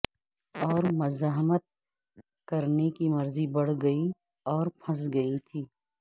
اور مزاحمت کرنے کی مرضی بڑھ گئی اور پھنس گئی تھی